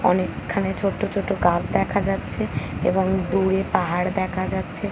অনেক খানি ছোট্ট ছোট্ট গাছ দেখা যাচ্ছে এবং দূরে পাহাড় দেখা যাচ্ছে।